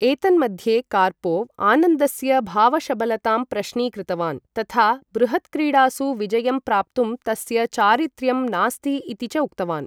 एतन्मध्ये, कार्पोव्, आनन्दस्य भावशबलतां प्रश्नीकृतवान् तथा बृहत्क्रीडासु विजयं प्राप्तुं तस्य चारित्र्यं नास्ति इति च उक्तवान्।